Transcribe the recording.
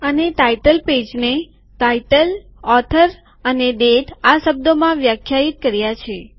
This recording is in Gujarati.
અને શીર્ષક પૃષ્ઠને શીર્ષક લેખક અને તારીખ આ શબ્દોમાં વ્યાખ્યાયિત કર્યા છે